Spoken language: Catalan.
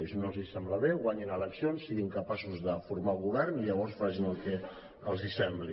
i si no els sembla bé guanyin eleccions siguin capaços de formar govern i llavors facin el que els sembli